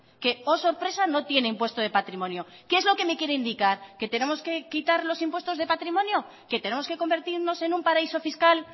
que oh sorpresa no tiene impuesto de patrimonio qué es lo que me quiere indicar qué tenemos que quitar los impuestos de patrimonio qué tenemos que convertirnos en un paraíso fiscal